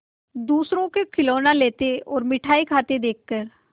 दूसरों को खिलौना लेते और मिठाई खाते देखकर